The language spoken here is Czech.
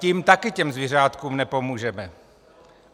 Tím taky těm zvířátkům nepomůžeme.